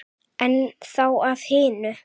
En þá að hinu.